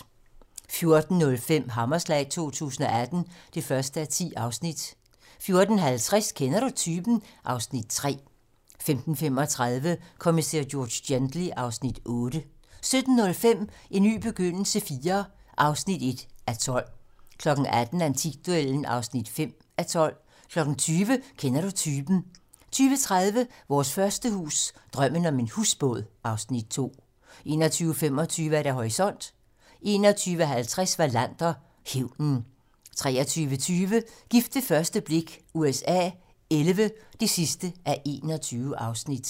14:05: Hammerslag 2018 (1:10) 14:50: Kender du typen? (Afs. 3) 15:35: Kommissær George Gently (Afs. 8) 17:05: En ny begyndelse IV (1:12) 18:00: Antikduellen (5:12) 20:00: Kender du typen? (tir) 20:30: Vores første hus - Drømmen om en husbåd (Afs. 2) 21:25: Horisont (tir) 21:50: Wallander: Hævnen 23:20: Gift ved første blik USA XI (21:21)